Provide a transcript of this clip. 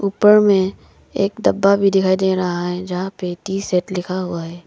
ऊपर में एक डब्बा भी दिखाई दे रहा है जहां पे टी सेट लिखा हुआ है।